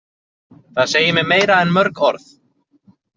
Það segir mér meira en mörg orð.